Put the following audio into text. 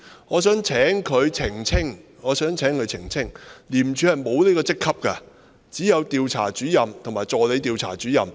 我想請他澄清，廉政公署沒有這個職級，只有調查主任和助理調查主任。